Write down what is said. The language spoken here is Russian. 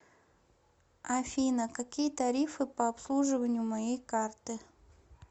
афина какие тарифы по обслуживанию моей карты